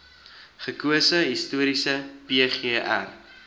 gekose historiese pgr